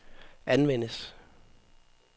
anvendes